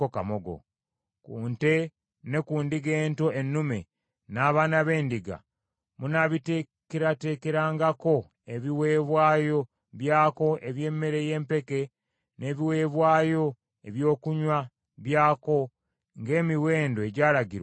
Ku nte ne ku ndiga ento ennume, n’abaana b’endiga, munaabiteekerateekerangako ebiweebwayo byako eby’emmere y’empeke n’ebiweebwayo ebyokunywa byako ng’emiwendo egyalagirwa bwe giri.